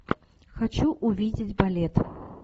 хочу увидеть балет